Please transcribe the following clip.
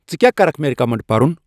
ژَٕ کیٛاہ کَرکھ مےٚ رکیمنڑ پرُن